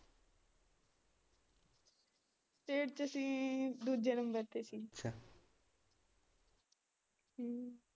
state ਚ ਅਸੀਂ ਦੂਜੇ ਨੰਬਰ ਤੇ ਸੀ ਅੱਛਾ ਹਮ